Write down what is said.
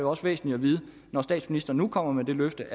også væsentligt når statsministeren nu kommer med det løfte